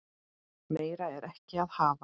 Meira er ekki að hafa.